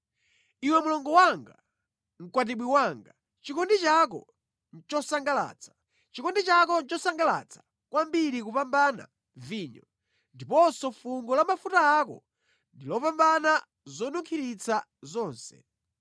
Iwe mlongo wanga, mkwatibwi wanga, chikondi chako nʼchosangalatsa! Chikondi chako nʼchosangalatsa kwambiri kupambana vinyo, ndiponso fungo la mafuta ako ndi lopambana zonunkhiritsa zonse!